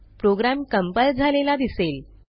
program compile झालेला दिसेल